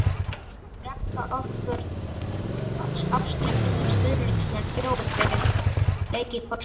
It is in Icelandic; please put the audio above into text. Drekka okkar ástríðufullu stuðningsmenn bjór fyrir leiki hvort sem er?